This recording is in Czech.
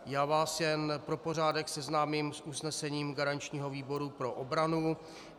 Já vás jen pro pořádek seznámím s usnesením garančního výboru pro obranu.